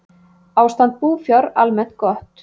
Ástand búfjár almennt gott